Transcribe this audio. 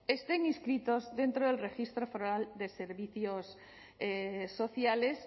estén inscritos dentro del registro foral de servicios sociales